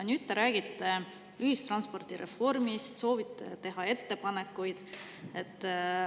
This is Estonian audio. Nüüd te räägite ühistranspordireformist, soovite teha ettepanekuid.